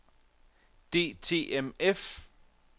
DTMF